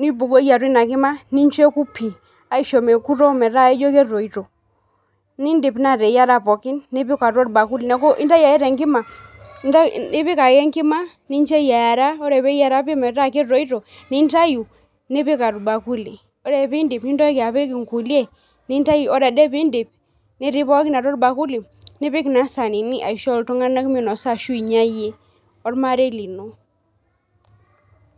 nibukoki atua ina kima ,nincho eku pi, aisho mekuto metaa ijo ketoito, nindip naa ateyiera pookin , nipik atua orbakuli , niaku intayu ake tenkima, ipik ake enkima, nincho eyiera , ore peyiera pi metaa ketoito , nintayu , nipik orbakuli . ore pindip nintoki apik inkulie, ore ade piindip netii pookin atua orbakuli, nipik naa isaanini aisho iltunganak minosa ashu inyia iyie ormarei lino.